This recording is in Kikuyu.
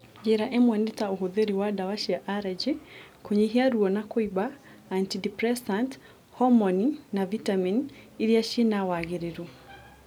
Njĩra imwe nĩ ta ũhũthĩri wa ndawa cia arajĩ, kũnyihia ruo na kũimba, antideprecant, homoni na vitameni iria cina wagĩrĩru